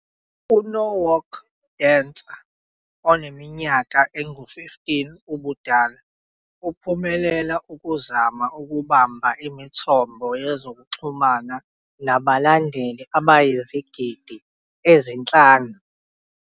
"U-Norwalk Dancer oneminyaka engu-15 ubudala Uphumelela ukuzama ukubamba imithombo yezokuxhumana nabalandeli abayizigidi ezinhlanu".